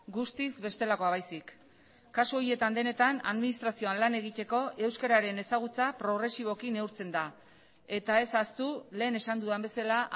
guztiz bestelakoa baizik kasu horietan denetan administrazioan lan egiteko euskararen ezagutza progresiboki neurtzen da eta ez ahaztu lehen esan dudan bezala